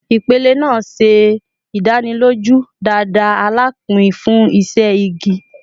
Ipele naa ṣe idaniloju dada alapin fun iṣẹ igi